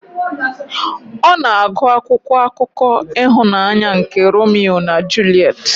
Ọ na-agụ akwụkwọ akụkọ ịhụnanya nke Romeo na Juliet.